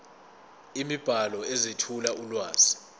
imibhalo ezethula ulwazi